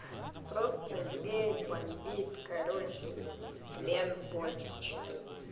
просто лень бомбит короче тлен боль чай